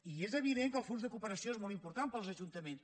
i és evident que el fons de cooperació és molt important per als ajuntaments